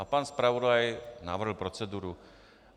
A pan zpravodaj navrhl proceduru.